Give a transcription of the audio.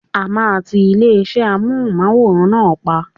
A máa tí ilé-iṣé Amóhùnmáwòrán náà pa.